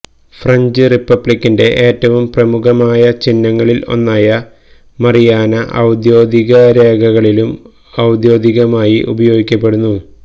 French റിപ്പബ്ലിക്കിന്റെ ഏറ്റവും പ്രമുഖമായ ചിഹ്നങ്ങളിൽ ഒന്നായ മറിയാന ഔദ്യോഗിക രേഖകളിലും ഔദ്യോഗികമായി ഉപയോഗിക്കപ്പെടുന്നു